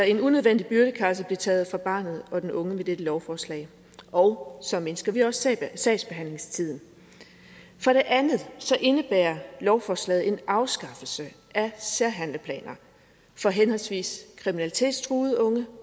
en unødvendig byrde kan altså blive taget fra barnet og den unge med dette lovforslag og så mindsker vi også sagsbehandlingstiden for det andet indebærer lovforslaget en afskaffelse af særhandleplaner for henholdsvis kriminalitetstruede unge